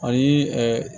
Ani